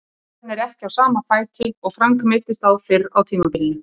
Rifan er ekki á sama fæti og Frank meiddist á fyrr á tímabilinu.